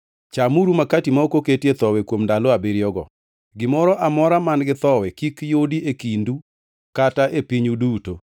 Chamuru makati ma ok oketie thowi kuom ndalo abiriyogo; gimoro amora man-gi thowi kik yudi e kindu kata e pinyu duto.